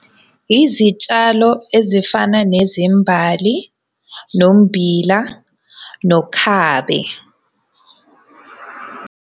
Izitshalo ezifana nezimbali, nommbila, nokhabe.